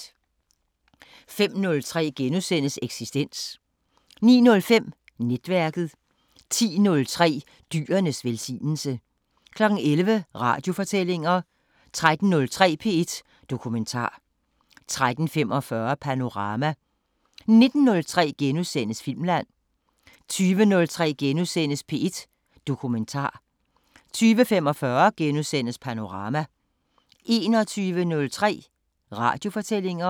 05:03: Eksistens * 09:05: Netværket 10:03: Dyrenes velsignelse 11:00: Radiofortællinger 13:03: P1 Dokumentar 13:45: Panorama 19:03: Filmland * 20:03: P1 Dokumentar * 20:45: Panorama * 21:03: Radiofortællinger